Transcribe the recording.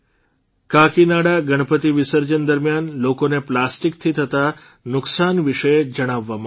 કાકીનાડા ગણપતિ વિસર્જન દરમિયાન લોકોને પ્લાસ્ટીકથી થતા નુકસાન વિશે જણાવવામાં આવ્યું